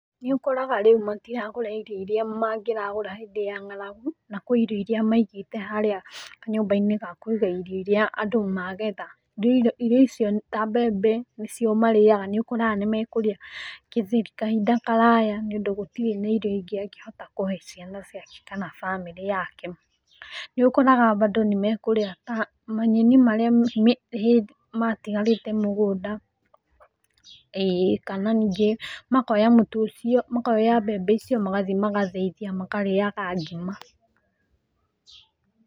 Nĩ ũkoraga rĩu matiragũra irio iria mangĩragũra hĩndĩ ya ng'aragu kũrĩ irio iria maigĩte kanyũmbainĩ ga kũiga irio iria andũ magetha, irio icio ta mbembe nĩcio marĩyaga nĩũkoraga nĩmekũrĩa gĩtheri kahinda karaya nĩũndũ gũtire na irio ingĩ angĩhota kũhe ciana ciake kana bamĩrĩ yake, nĩ ũkoraga bado nĩmekũrĩa kĩndũ ta manyeni marĩa matigarĩte mũgũnda ĩĩ kana ningĩ makoya mbembe icio magathie magathĩithia makarĩyaga ngima.